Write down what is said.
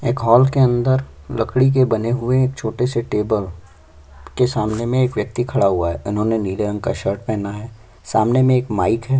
एक हॉल के अंदर लकड़ी के बने हुए एक छोटे से टेबल के सामने मे एक व्यक्ति खड़ा हुआ है उन्होने नीला रंग की शर्ट पेहना है सामने मे एक माइक है।